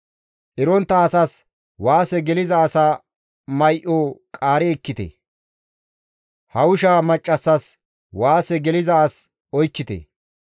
Erontta asas waase geliza asa may7o qaari ekkite; hawusha maccassas waase geliza as oykkite.